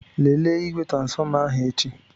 Lelee igwe transfọma ahụ echi.